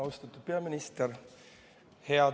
Austatud peaminister!